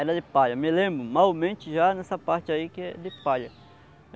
Era de palha, me lembro malmente já nessa parte aí que é de palha.